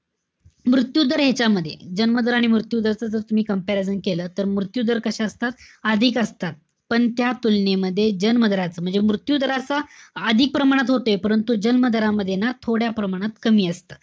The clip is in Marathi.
मृत्यू दर ह्यांच्यामध्ये. जन्म दर आणि मृत्यू दरच जर तुम्ही comaprison केलं, तर मृत्यू दर कशे असतात? अधिक असतात. पण त्या तुलनेमध्ये जे जन्म दराच, म्हणजे मृत्यू दराचा अधिक प्रमाणात होतोय. परंतु, जमीन दरामध्ये ना, थोड्या प्रमाणात कमी असत.